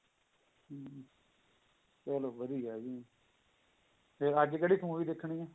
ਚਲੋ ਵਧੀਆ ਜੀ ਅੱਜ ਕਿਹੜੀ movie ਦੇਖਣੀ ਹੈ